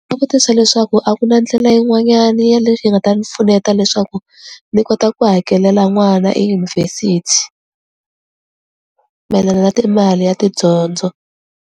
vutisa leswaku a ku na ndlela yin'wanyana ya yi nga ta ni pfuneta leswaku ni kota ku hakelela n'wana eyunivhesiti mayelana na timali ya tidyondzo.